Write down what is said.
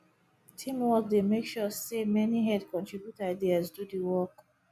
teamwork dey make sure say many head contribute ideas do the work